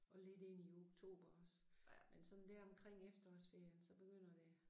Og lidt ind i oktober også. Men sådan dér omkring efterårsferien så begynder det